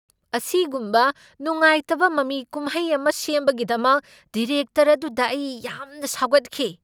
ꯑꯁꯤꯒꯨꯝꯕ ꯅꯨꯡꯉꯥꯏꯇꯕ ꯃꯃꯤ ꯀꯨꯝꯍꯩ ꯑꯃ ꯁꯦꯝꯕꯒꯤꯗꯃꯛ ꯗꯤꯔꯦꯛꯇꯔ ꯑꯗꯨꯗ ꯑꯩ ꯌꯥꯝꯅ ꯁꯥꯎꯒꯠꯈꯤ꯫